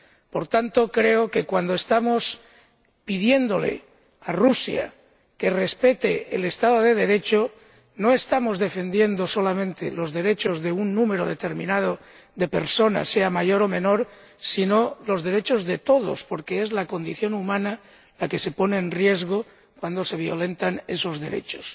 Por tanto, creo que cuando estamos pidiéndole a Rusia que respete el Estado de Derecho, no estamos defendiendo solamente los derechos de un número determinado de personas, sea mayor o menor, sino los derechos de todos, porque es la condición humana la que se pone en riesgo cuando se violentan esos derechos.